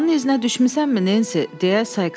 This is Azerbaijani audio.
Oğlanın iznə düşmüsənmi, Nensi?